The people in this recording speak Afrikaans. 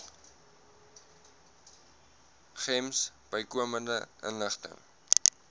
gems bykomende inligting